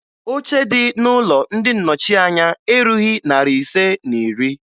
Oche dị n'Ụlọ ndị Nnọchianya erughi narị ise na iri